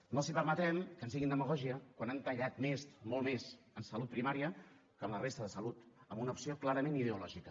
no els permetrem que ens diguin demagògia quan han tallat més molt més en salut primària que en la resta de salut amb una opció clarament ideològica